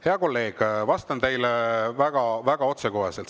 Hea kolleeg, vastan teile väga otsekoheselt.